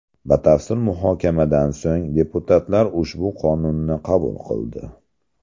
Batafsil muhokamadan so‘ng deputatlar ushbu qonunni qabul qildi.